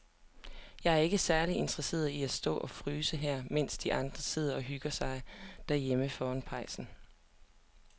Jeg er ikke særlig interesseret i at stå og fryse her, mens de andre sidder og hygger sig derhjemme foran pejsen.